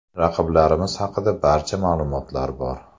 Raqiblarimiz haqida barcha ma’lumotlar bor.